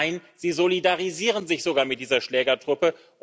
Nein, sie solidarisieren sich sogar mit dieser Schlägertruppe.